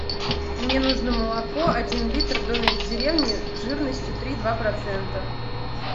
мне нужно молоко один литр домик в деревне жирностью три и два процента